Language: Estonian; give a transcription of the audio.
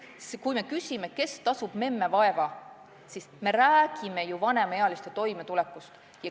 Kui me küsime, kes tasub memme vaeva, siis me räägime ju vanemaealiste toimetulekust.